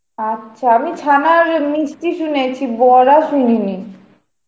আচ্ছা আমি ছানার মিষ্টি শুনেছি, বড়া শুনিনি.